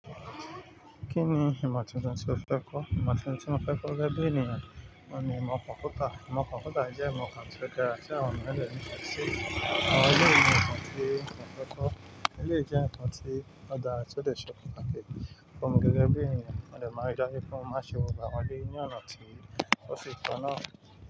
Kí ni ìmọ̀ titun tí o fẹ́ kọ́? Ìmọ̀ titun tí mo fẹ́ kọ́ gẹ́ge bí ènìyàn oun ni imo konpútà. Ìmọ̀ konpútà jẹ́ ìmọ̀ kan tí ó dára tí àwọn eniyan de ni fesi, àwọn eleyi ni imọ ti mo fẹ́ kọ́. Eleyii jẹ́ nǹkan tí o dára tí ó dè ṣe pataki fun mi gẹ́gẹ́ bí ènìyàn. Mo dè máa n rí daju pe mo máa n ṣe gbogbo awọ́n eleyii ní ọ̀nà tí ó fi taná.